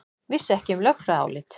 Vissi ekki um lögfræðiálit